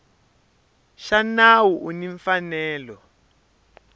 xa nawu u ni mfanelo